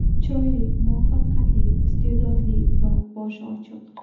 Chiroyli, muvaffaqiyatli, iste’dodli va boshi ochiq.